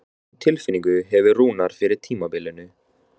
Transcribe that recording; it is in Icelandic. Hvernig tilfinningu hefur Rúnar fyrir tímabilinu?